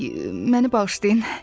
Oy, məni bağışlayın.